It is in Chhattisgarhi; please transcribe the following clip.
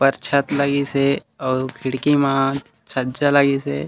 ऊपर छत लगीसे अऊ खिड़की म छज्जा लगीसे।